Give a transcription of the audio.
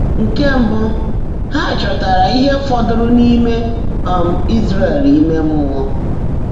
Nkè mbụ́, há chọ́táárá íhe fọ́dụ́rụ́ n’íimé um Ị́zràẹ̀l íme mmụọ́.